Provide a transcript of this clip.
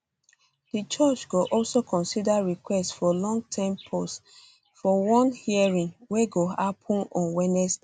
di judge go also consider request for longerterm pause for one hearing wey go happun on wednesday